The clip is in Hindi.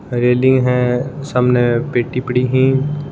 रेलिंग है सामने पेटी पड़ी है।